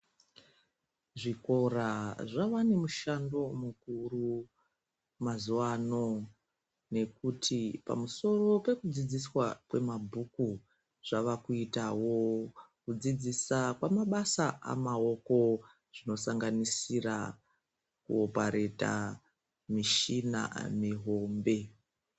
Zvikora zvava nemushando mukuru mazuwan nekuti pamusowo wekudzidziswa kwemabhuku zvavakuitawo kudzidzisa kwamabasa amaoko zvinosanganisira kuopareta mishina mihombe.